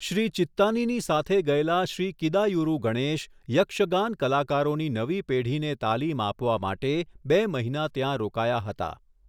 શ્રી ચિત્તાનીની સાથે ગયેલા શ્રી કિદાયુરુ ગણેશ, યક્ષગાન કલાકારોની નવી પેઢીને તાલીમ આપવા માટે બે મહિના ત્યાં રોકાયા હતા.